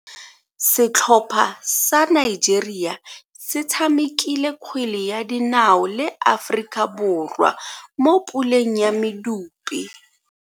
Setlhopha sa Nigeria se tshamekile kgwele ya dinao le Aforika Borwa mo puleng ya medupe.